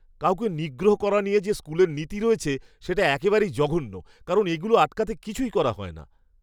কাউকে নিগ্রহ করা নিয়ে যে স্কুলের নীতি রয়েছে সেটা একেবারেই জঘন্য কারণ এগুলো আটকাতে কিছুই করা হয় না!